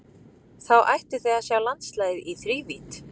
Þá ættuð þið að sjá landslagið í þrívídd.